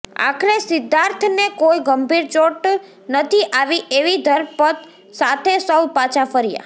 આખરે સિદ્ધાર્થને કોઈ ગંભીર ચોટ નથી આવી એવી ધરપત સાથે સૌ પાછાં ફર્યાં